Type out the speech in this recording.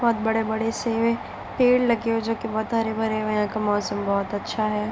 बहुत बड़े-बड़े से पेड़ लगे हैं जो की बहुत हरे-भरे हुए हैं यहाँ का मौसम बहुत अच्छा है।